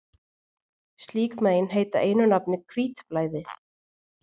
slík mein heita einu nafni hvítblæði